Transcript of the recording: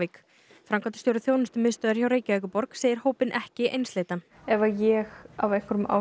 þjónustumiðstöðvar hjá Reykjavíkurborg segir hópinn ekki einsleitan ef að ég að einhverjum ástæðum